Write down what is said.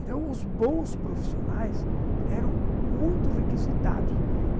Então, os bons profissionais eram muito requisitados.